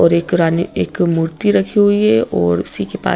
और एक रानी एक मूर्ति रखी हुई है और उसी के पास--